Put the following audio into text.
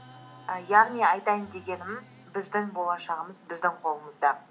і яғни айтайын дегенім біздің болашағымыз біздің қолымызда